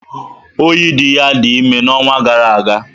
Oyidiya dị ime n'ọnwa gara aga.